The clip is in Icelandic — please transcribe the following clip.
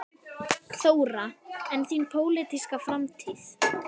Þóra: En þín pólitíska framtíð?